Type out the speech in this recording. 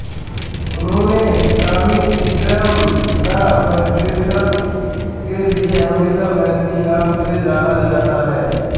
उन्हें comic strip the Parisers के लिए हमेशा मैसी नाम से जाना जाता हैं